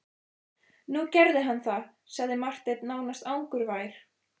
Nú gerði hann það, sagði Marteinn nánast angurvær.